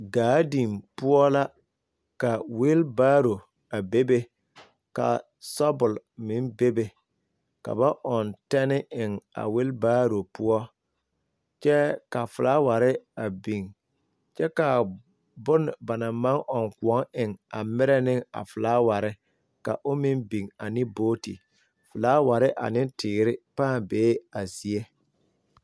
Gaadi poɔ la ka weebaro a bebe ka sɔbol meŋ bebe ka ba ɔŋ tanne eŋ a weebaro poɔ kyɛ ka filaaware a biŋ kyɛ ka a bon ba naŋ maŋ ɔŋ kõɔ eŋ a merɛ ne a filaware ka o meŋ biŋ biŋ ane buuti filaaware ane teere nee a zie.